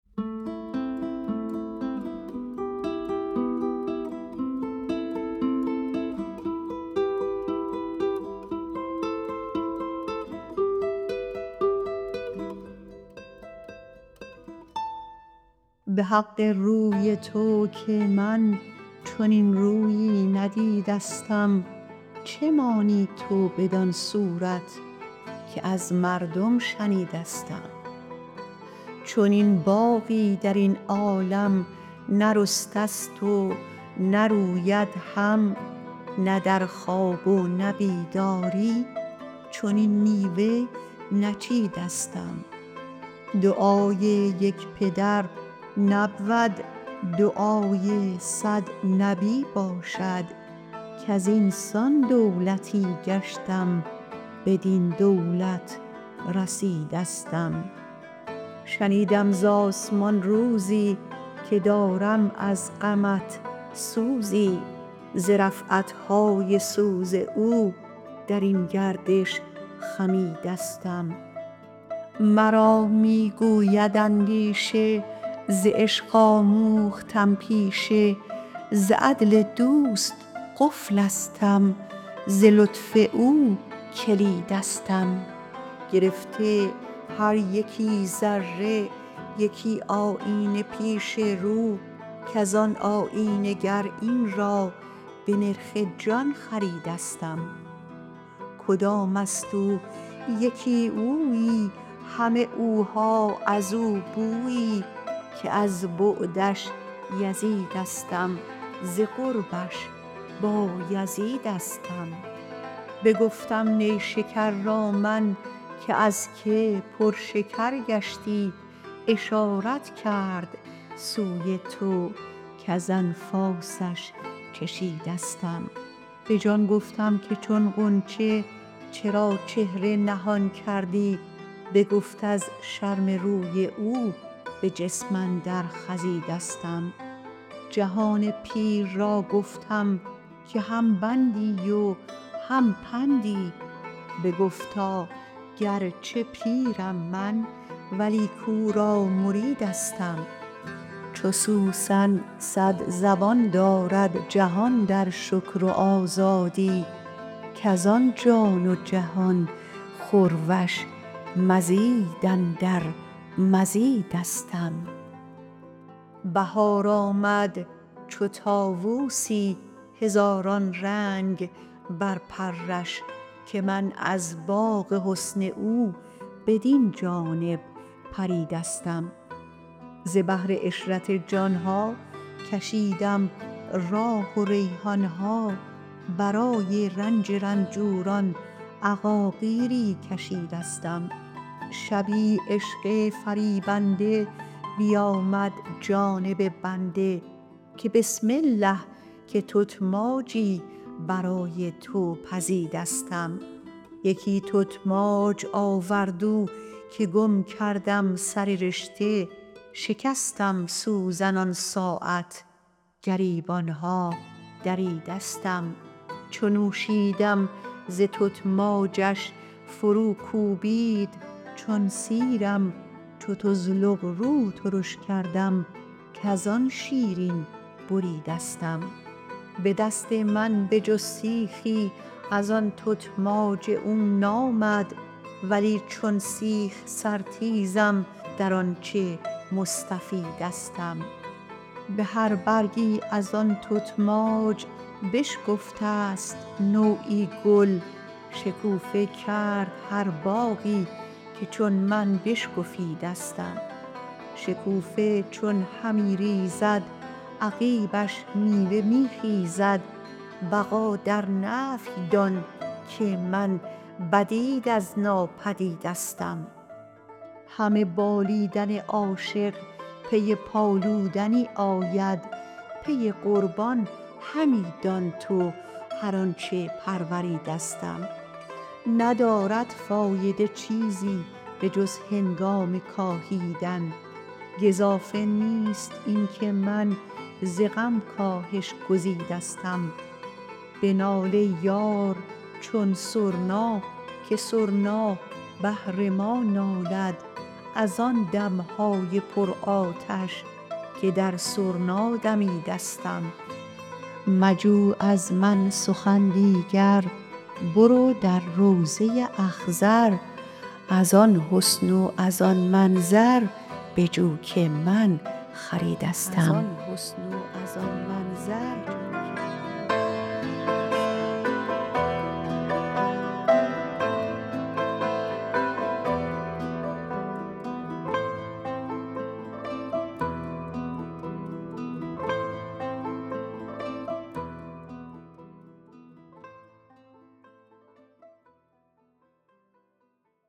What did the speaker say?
به حق روی تو که من چنین رویی ندیدستم چه مانی تو بدان صورت که از مردم شنیدستم چنین باغی در این عالم نرسته ست و نروید هم نه در خواب و نه بیداری چنین میوه نچیدستم دعای یک پدر نبود دعای صد نبی باشد کز این سان دولتی گشتم بدین دولت رسیدستم شنیدم ز آسمان روزی که دارم از غمت سوزی ز رفعت های سوز او در این گردش خمیدستم مرا می گوید اندیشه ز عشق آموختم پیشه ز عدل دوست قفلستم ز لطف او کلیدستم گرفته هر یکی ذره یکی آیینه پیش رو کز آن آیینه گر این را به نرخ جان خریدستم کدام است او یکی اویی همه اوها از او بویی که از بعدش یزیدستم ز قربش بایزیدستم بگفتم نیشکر را من که از کی پرشکر گشتی اشارت کرد سوی تو کز انفاسش چشیدستم به جان گفتم که چون غنچه چرا چهره نهان کردی بگفت از شرم روی او به جسم اندر خزیدستم جهان پیر را گفتم که هم بندی و هم پندی بگفتا گرچه پیرم من ولیک او را مریدستم چو سوسن صد زبان دارد جهان در شکر و آزادی کز آن جان و جهان خورش مزید اندر مزیدستم بهار آمد چو طاووسی هزاران رنگ بر پرش که من از باغ حسن او بدین جانب پریدستم ز بهر عشرت جان ها کشیدم راح و ریحان ها برای رنج رنجوران عقاقیری کشیدستم شبی عشق فریبنده بیامد جانب بنده که بسم الله که تتماجی برای تو پزیدستم یکی تتماج آورد او که گم کردم سر رشته شکستم سوزن آن ساعت گریبان ها دریدستم چو نوشیدم ز تتماجش فروکوبید چون سیرم چو طزلق رو ترش کردم کز آن شیرین بریدستم به دست من به جز سیخی از آن تتماج او نامد ولی چون سیخ سرتیزم در آنچ مستفیدستم به هر برگی از آن تتماج بشکفته ست نوعی گل شکوفه کرد هر باغی که چون من بشکفیدستم شکوفه چون همی ریزد عقیبش میوه می خیزد بقا در نفی دان که من بدید از نابدیدستم همه بالیدن عاشق پی پالودنی آید پی قربان همی دان تو هر آنچ پروریدستم ندارد فایده چیزی به جز هنگام کاهیدن گزافه نیست این که من ز غم کاهش گزیدستم بنال ای یار چون سرنا که سرنا بهر ما نالد از آن دم ها پرآتش که در سرنا دمیدستم مجو از من سخن دیگر برو در روضه اخضر از آن حسن و از آن منظر بجو که من خریدستم